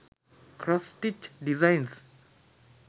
cross stitch designs